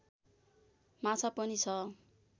माछा पनि छ